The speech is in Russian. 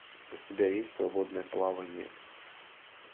у тебя есть свободное плавание